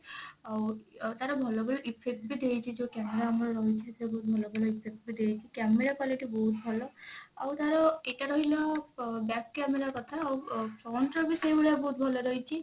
ଆଉ ଆଉ ତାର ଭଲ ଭଲ effect ବି ଦେଇଛି ଯଉ camera ଆମର ରହିଛି ସବୁ ଭଲ ଭଲ effect ବି ଦେଇଛି camera quality ବହୁତ ଭଲ ଆଉ ତାର ଏଟା ରହିଲା back camera କଥା ଆଉ front ର ବି ସେଇ ଭଳିଆ ବହୁତ ଭଲ ରହିଛି